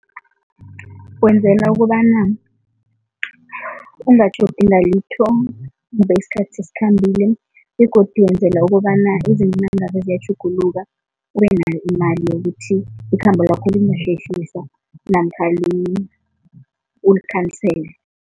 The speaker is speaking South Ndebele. Kwenzela ukobana ungatjhodi ngalitho kube isikhathi sesikhambile begodu wenzela ukobana izinto nangabe ziyatjhuguluka, ubenayo imali yokuthi ikhambo lakho lingahlehliswa namkha ulikhansele.